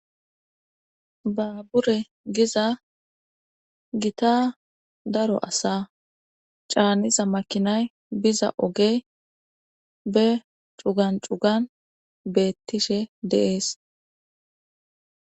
Baabure giza gitz daro asaa caaniza makinay biza oge be cigan cugan beettishe dde7ees.